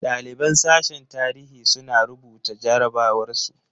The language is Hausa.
Ɗaliban sashen tarihi suna rubuta jarabawar su.